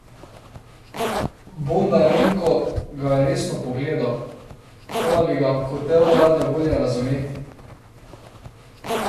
Bondarenko ga je resno pogledal, kot da bi ga hotel rade volje razumeti.